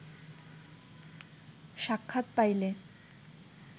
সাক্ষাৎ পাইলে